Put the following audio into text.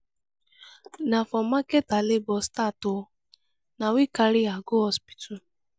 na for market her labor start o na we carry her go hospital.